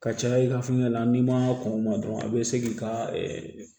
Ka caya i ka fɛngɛ la n'i ma kɔn ma dɔrɔn a be se k'i ka